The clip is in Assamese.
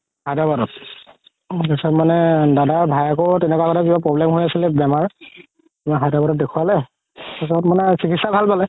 হায়দৰাবাদত তাৰ পিছত মানে দাদাৰ ভাইয়েকৰও তেনেকুৱা এটা কিবা problem হৈ আছিলে বেমাৰ হায়দৰাবাদত দেখুৱালে তাৰ পাছত মানে চিকিৎসা ভাল পালে